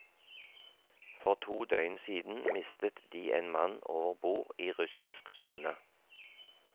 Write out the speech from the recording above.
For to døgn siden mistet de en mann overbord i russisk sone.